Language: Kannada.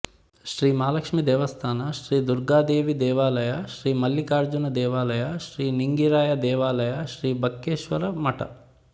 ಶ್ರೀ ಮಹಾಲಕ್ಷ್ಮಿ ದೇವಸ್ಥಾನ ಶ್ರೀ ದುರ್ಗಾದೇವಿ ದೇವಲಯ ಶ್ರೀ ಮಲ್ಲಿಕಾರ್ಜುನ ದೇವಾಲಯ ಶ್ರೀ ನಿಂಗರಾಯ ದೇವಾಲಯಶ್ರೀ ಬಕ್ಕೇಶ್ವರ ಮಠ